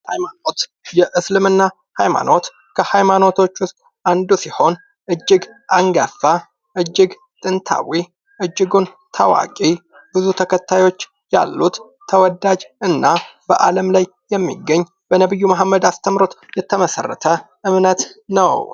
ሐይማኖት :- የእስልምና ሐይማኖት ከሐይማኖቶች ውስጥ አንዱ ሲሆን እጅግ አንጋፋ እጅግ ጥንታዊ እጅጉን ታዋቂ ብዙ ተከታዮች ያሉት ተወዳጅ እና በዓለም ላይ የሚገኝ በነቢዩ መሀመድ አስተምህሮት የተመሠረተ እምነት ነው።